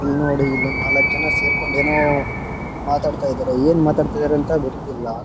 ಇಲ್ನೋಡಿ ಇಲ್ಲೊಂದ್ ನಲಕ್ ಜನ ಸೇರ್ಕೊಂಡ್ ಏನೋ ಮಾತಾಡ್ತಿದಾರೆ ಏನ್ ಮಾತಾಡ್ತಿದಾರೆ ಅಂತ ಗೊತ್ತಿಲ್ಲ .